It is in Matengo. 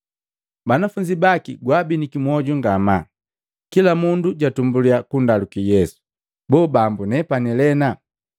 Banafunzi baki gwaabiniki mwoju ngamaa, kila mundu jatumbuliya kundaluki Yesu, “Boo, Bambu, nepane lena?”